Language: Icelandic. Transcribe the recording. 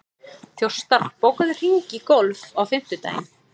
Þjóstar, bókaðu hring í golf á fimmtudaginn.